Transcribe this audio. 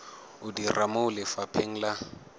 o dira mo lefapheng la